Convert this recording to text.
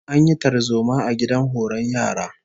An yi tarzoma a gidan horon yara